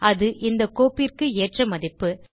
அது இந்தக் கோப்பிற்கு ஏற்ற மதிப்பு